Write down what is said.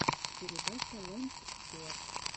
передача лэнс стюарт